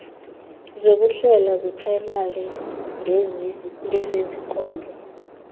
zokuhlela zeprayimari ngezezinkonzo